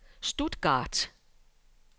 Stuttgart